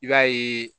I b'a ye